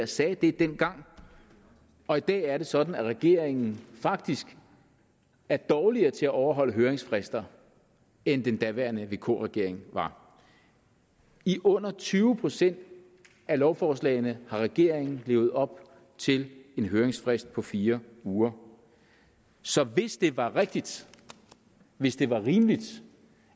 sagde det dengang og i dag er det sådan at regeringen faktisk er dårligere til at overholde høringsfrister end den daværende vk regering var i under tyve procent af lovforslagene har regeringen levet op til en høringsfrist på fire uger så hvis det var rigtigt hvis det var rimeligt